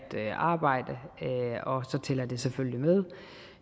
arbejde og så tæller det selvfølgelig